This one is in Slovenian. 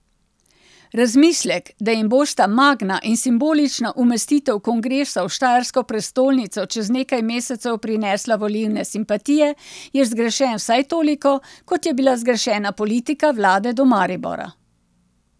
Razmislek, da jim bosta Magna in simbolična umestitev kongresa v štajersko prestolnico čez nekaj mesecev prinesla volilne simpatije, je zgrešen vsaj toliko, kot je bila zgrešena politika vlade do Maribora.